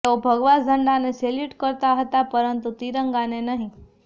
તેઓ ભગવા ઝંડાને સેલ્યુટ કરતા હતાં પરંતુ તિરંગાને નહીં